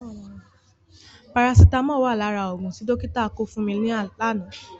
Parasitámọ̀ wà lára òògùn tí dọ́kítà kọ fún mi lánàá.